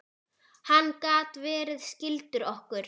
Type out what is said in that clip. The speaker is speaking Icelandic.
Hann gat verið skyldur okkur.